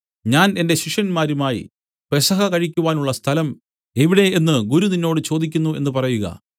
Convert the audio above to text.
ഞാൻ എന്റെ ശിഷ്യന്മാരുമായി പെസഹ കഴിക്കുവാനുള്ള സ്ഥലം എവിടെ എന്നു ഗുരു നിന്നോട് ചോദിക്കുന്നു എന്നു പറയുക